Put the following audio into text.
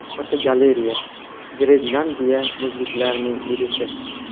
Fotogalereya: Grenlandiya muzliklarining erishi.